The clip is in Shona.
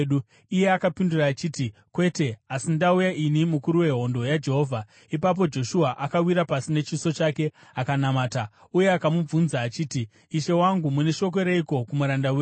Iye akapindura achiti, “Kwete, asi ndauya ini mukuru wehondo yaJehovha.” Ipapo Joshua akawira pasi nechiso chake akanamata, uye akamubvunza achiti, “Ishe wangu, mune shoko reiko kumuranda wenyu?”